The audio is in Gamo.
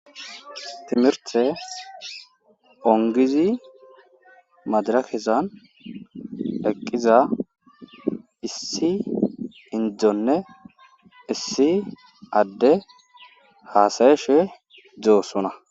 timirtte ongizi madirakezan eqqiza issi inddonne issi adde haasa7ishe doosona.